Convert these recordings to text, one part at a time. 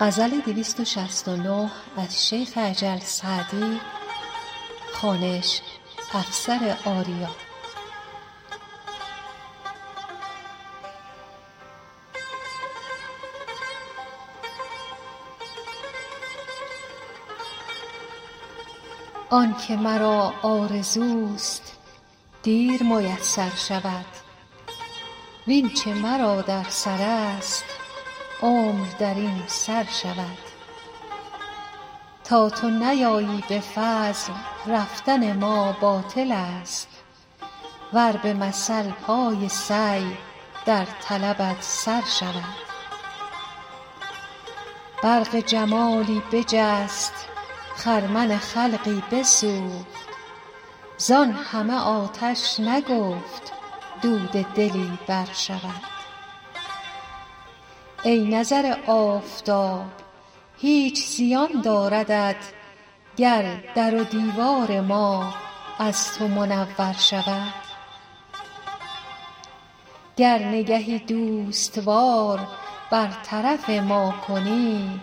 آن که مرا آرزوست دیر میسر شود وین چه مرا در سرست عمر در این سر شود تا تو نیایی به فضل رفتن ما باطلست ور به مثل پای سعی در طلبت سر شود برق جمالی بجست خرمن خلقی بسوخت زان همه آتش نگفت دود دلی برشود ای نظر آفتاب هیچ زیان داردت گر در و دیوار ما از تو منور شود گر نگهی دوست وار بر طرف ما کنی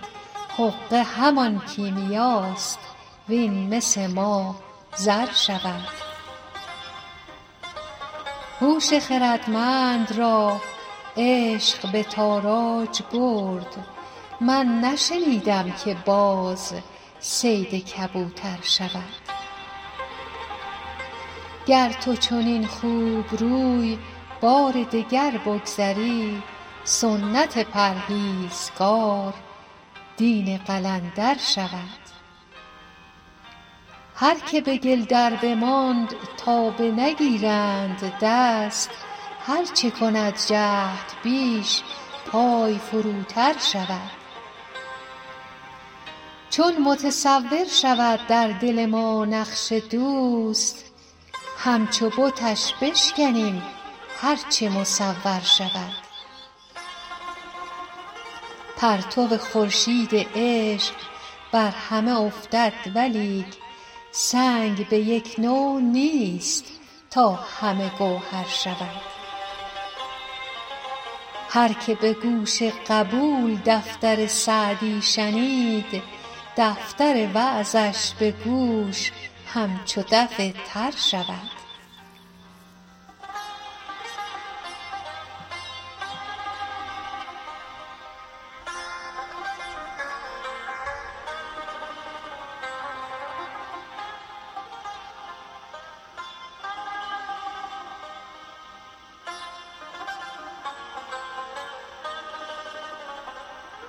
حقه همان کیمیاست وین مس ما زر شود هوش خردمند را عشق به تاراج برد من نشنیدم که باز صید کبوتر شود گر تو چنین خوبروی بار دگر بگذری سنت پرهیزگار دین قلندر شود هر که به گل دربماند تا بنگیرند دست هر چه کند جهد بیش پای فروتر شود چون متصور شود در دل ما نقش دوست همچو بتش بشکنیم هر چه مصور شود پرتو خورشید عشق بر همه افتد ولیک سنگ به یک نوع نیست تا همه گوهر شود هر که به گوش قبول دفتر سعدی شنید دفتر وعظش به گوش همچو دف تر شود